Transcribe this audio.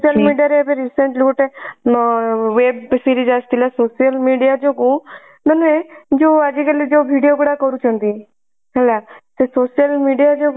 social media ରେ ଏବେ recently ଗୋଟେ ଅ web series ଆସିଥିଲା social media ଯୋଗୁ ମାନେ ଯଉ ଆଜି କାଲି ଯଉ video ଗୁଡା କରୁଛନ୍ତି ହେଲା ସେ social media ଯୋଗୁ